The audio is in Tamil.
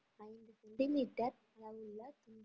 ஐநூறு சென்டிமீட்டர் அளவுள்ள